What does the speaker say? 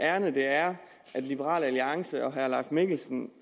ærinde det er liberal alliance og herre leif mikkelsen